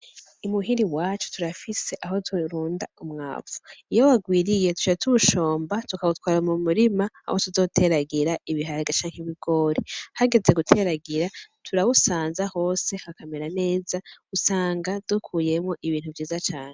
Imuhiri wacu turafise aho turunda umwavu iyo wagwiriye tuja tushomba tukawutwara mu murima aho tuzoteragira ibihara gaca nk'ibigore hageze guteragira turawusanza hose nkakamera neza usanga dukuyemwo ibintu vyiza cane.